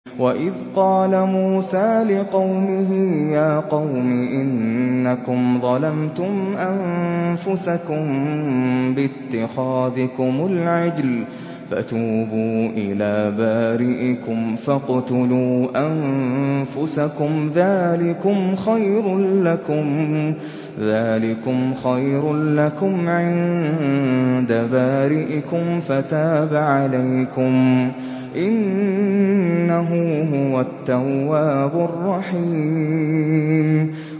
وَإِذْ قَالَ مُوسَىٰ لِقَوْمِهِ يَا قَوْمِ إِنَّكُمْ ظَلَمْتُمْ أَنفُسَكُم بِاتِّخَاذِكُمُ الْعِجْلَ فَتُوبُوا إِلَىٰ بَارِئِكُمْ فَاقْتُلُوا أَنفُسَكُمْ ذَٰلِكُمْ خَيْرٌ لَّكُمْ عِندَ بَارِئِكُمْ فَتَابَ عَلَيْكُمْ ۚ إِنَّهُ هُوَ التَّوَّابُ الرَّحِيمُ